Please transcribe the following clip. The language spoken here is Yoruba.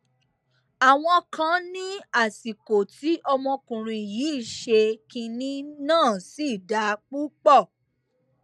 àwọn kan ní àsìkò tí ọmọkùnrin yìí ṣe kinní náà sì dáa púpọ